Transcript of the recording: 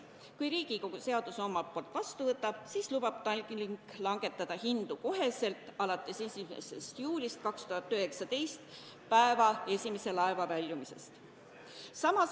Kui Riigikogu seaduse vastu võtab, siis lubab Tallink langetada hindu kohe 1. juulil 2019 alates päeva esimese laeva väljumisest.